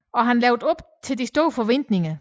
Og han levede op til de store forventninger